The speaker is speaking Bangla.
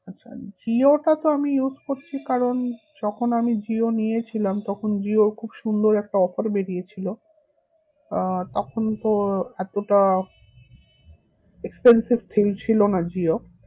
আচ্ছা জিও টা তো আমি use করছি কারণ যখন আমি জিও নিয়েছিলাম তখন জিও খুব সুন্দর একটা offer বেরিয়েছিল আহ তখন তো এতটা expensive thing ছিল না জিও